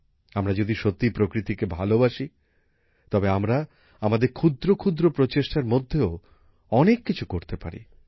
আমরা যদি সত্যিই প্রকৃতিকে ভালবাসি তবে আমরা আমাদের ক্ষুদ্র ক্ষুদ্র প্রচেষ্টার মধ্যেও অনেক কিছু করতে পারি